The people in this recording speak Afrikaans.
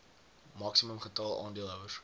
maksimum getal aandeelhouers